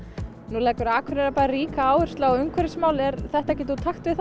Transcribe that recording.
nú leggur Akureyrarbær ríka áherslu á umhverfismál er þetta ekkert úr takti við